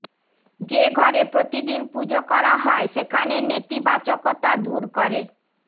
যে ঘরে প্রতিদিন পুজো করা হয় সেখানে নেতিবাচকতা দূর করে